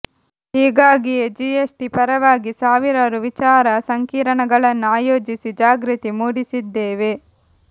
ಹೀಗಾಗಿಯೇ ಜಿಎಸ್ಟಿ ಪರವಾಗಿ ಸಾವಿರಾರು ವಿಚಾರ ಸಂಕಿರಣಗಳನ್ನು ಆಯೋಜಿಸಿ ಜಾಗೃತಿ ಮೂಡಿಸಿದ್ದೇವೆ